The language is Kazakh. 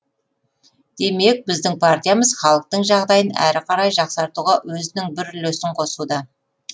демек біздің партиямыз халықтың жағдайын әрі қарай жақсартуға өзінің бір үлесін қосуда